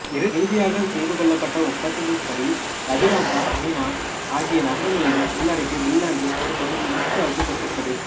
இறுதியாகச் செய்து கொள்ளப்பட்ட ஒப்பந்தத்தின்படி லப்பீன்ராந்தா அமினா ஆகிய நகரங்களையும் உள்ளடக்கிய பின்லாந்தின் ஒரு பகுதி உருசியாவுக்குக் கொடுக்கப்பட்டது